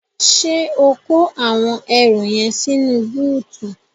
Ṣé o kó àwọn ẹrù yẹn sínú bóótù?